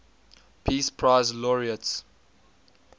peace prize laureates